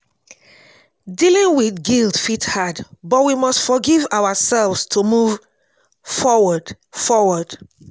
dealing with guilt fit hard but we must forgive our self to move forward forward